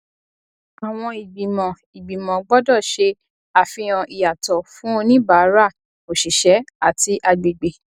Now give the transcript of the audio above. àwọn ìgbìmọ ìgbìmọ gbọdọ ṣé àfihàn ìyàtọ fún oníbàárà òṣìṣẹ àti àgbègbè